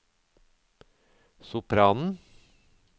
sopranen